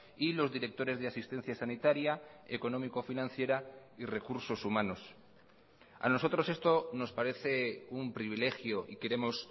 y los directores de asistencia sanitaria económico financiera y recursos humanos a nosotros esto nos parece un privilegio y queremos